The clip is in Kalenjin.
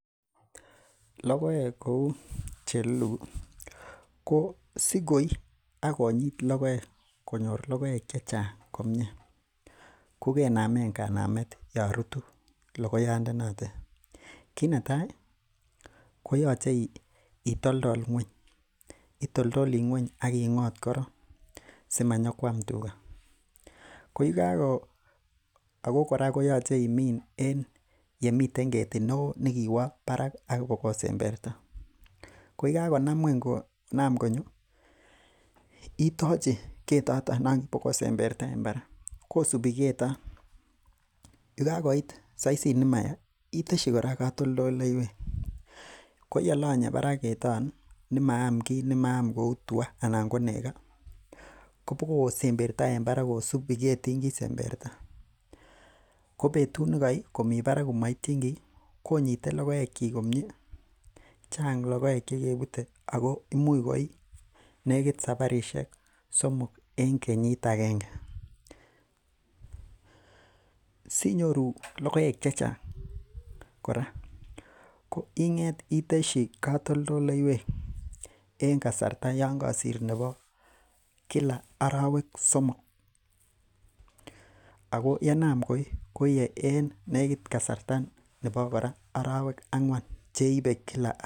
Logoeg kouu chelulugu ko sigoii akonyit logoeg konyor logoeg chechang komie kokenamen kanamet Yoon rutu logoyaat notet, kit netai koyoche itoltol ng'uany ak ing'ot koron simanyo Kuam tuga Ako kora koyoche imiin en yemiten ketit neoo nikiwoo barak ak ibikosemberta ko yakako Naam ng'uany konam konyo itachi keten nikibogosemberta en barak kosubi keton yekakoit saisit nemaya iteshi kora katoltolleywek koyalanye barak keton yemaam ki kouu tuaa kobokosemberta en barak kosubi ketin kisemberta ko betut nekoii komii barak ko maitien ki konyite logoeg, Chang logoeg chekebute ako imuch koii imuch sabarisiek somoken kenyit agenge SI nyori logoeg chechang kora iteshi katoltolleywek en kasarta yoon kasarta nebo arawek somok ako yekanaam koi koie en kasarta nebo arawek ang'uan cheibe Kila koba Siret.